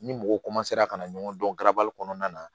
Ni mɔgɔ ka na ɲɔgɔn dɔn garabali kɔnɔna na